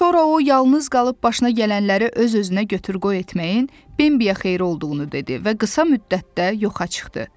Sonra o yalnız qalıb başına gələnləri öz-özünə götür-qoy etməyin, Bambiyə xeyri olduğunu dedi və qısa müddətdə yoxa çıxdı.